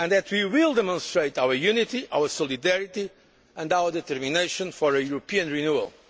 of times. We will demonstrate our unity, our solidarity and our determination for a European